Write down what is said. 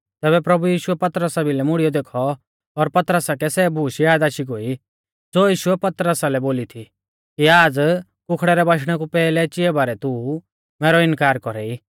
तैबै प्रभु यीशुऐ पतरसा भिलै मुड़ीयौ देखौ और पतरसा कै सै बुशै याद आशी गोई ज़ो यीशुऐ पतरसा लै बोली थी कि आज़ कुखड़े री बाच़ा देणै कु पैहलै चिया बारै तू मैरौ इनकार कौरा ई